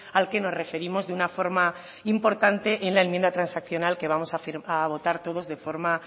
al que nos referimos de una forma importante en la enmienda transaccional que vamos a votar todos de forma